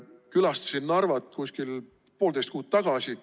Külastasin Narvat kuskil poolteist kuud tagasi.